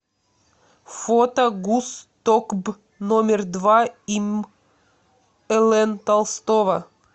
фото гуз токб номер два им лн толстого